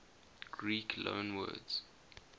greek loanwords